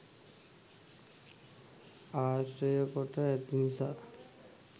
ආශ්‍රය කොට ඇති නිසා